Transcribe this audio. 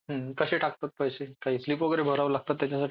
कसे टाकतात पैसे काही स्लिप काही स्लिप वगैरे भरावे लागते का त्याच्यासाठी.